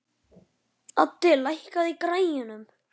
Addi, lækkaðu í græjunum.